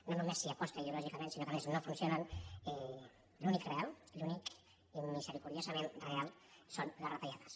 no només s’hi aposta ideològicament sinó que a més no funcionen l’únic real l’únic immiseri·cordiosament real són les retallades